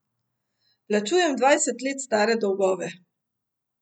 Plačujem dvajset let stare dolgove!